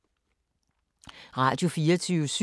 Radio24syv